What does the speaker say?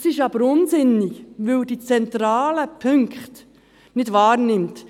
Das ist aber unsinnig, weil er die zentralen Punkte nicht wahrnimmt.